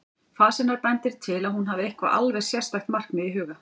Fas hennar bendir til að hún hafi eitthvert alveg sérstakt markmið í huga.